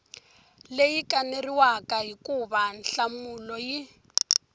leyi kaneriwaka hikuva nhlamulo yi